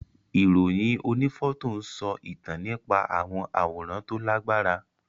Ìròyìn onífọ́tò ń sọ ìtàn nípa àwọn àwòrán tó Lágbára